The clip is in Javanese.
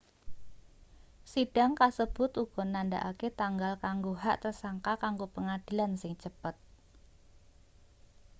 sidang kasebut uga nandhakake tanggal kanggo hak tersangka kanggo pengadilan sing cepet